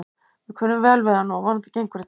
Við kunnum vel við hann og vonandi gengur þetta.